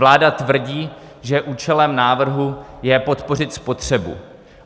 Vláda tvrdí, že účelem návrhu je podpořit spotřebu.